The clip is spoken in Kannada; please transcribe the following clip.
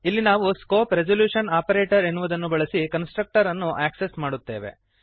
ಇಲ್ಲಿ ನಾವು ಸ್ಕೋಪ್ ರೆಸಲ್ಯೂಶನ್ ಆಪರೇಟರ ಎನ್ನುವುದನ್ನು ಬಳಸಿ ಕನ್ಸ್ಟ್ರಕ್ಟರನ್ನು ಆಕ್ಸೆಸ್ ಮಾಡುತ್ತೇವೆ